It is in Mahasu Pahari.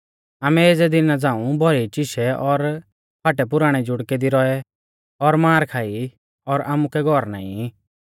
आमै एज़ै दिना झ़ांऊ भोखै चीशै और फाटैपुराणै जुड़कै दी रौऐ और मार खाई और आमुकै घौर नाईं ई